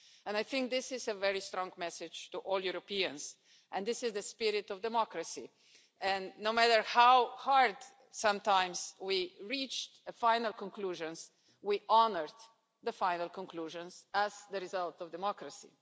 I think this is a very strong message to all Europeans, as this is the spirit of democracy. No matter how hard it sometimes was to reach a final conclusion, we honoured the final conclusions as the result of democracy.